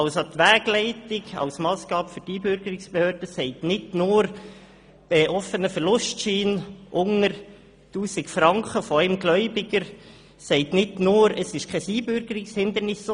Die Wegleitung als Massgabe für die Einbürgerungsbehörde sagt nicht nur offener Verlustschein von nur einem Gläubiger unter 1000 Franken, diese sagt nicht nur, es liege kein Einbürgerungshindernis vor.